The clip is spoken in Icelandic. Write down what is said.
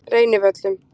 Reynivöllum